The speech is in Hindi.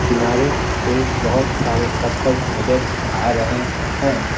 किनारे पे बहुत सारे पत्थर नजर आ रहे हैं।